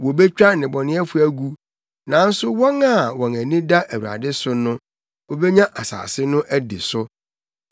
Wobetwa nnebɔneyɛfo agu, nanso wɔn a wɔn ani da Awurade so no wobenya asase no adi so.